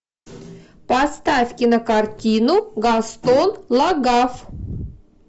поставь кинокартину гастон лагафф